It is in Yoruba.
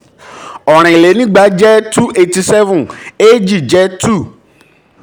òrìnlénígba jẹ́ two hundred and eighty seven eéjì jẹ́ two